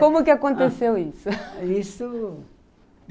Como que aconteceu isso?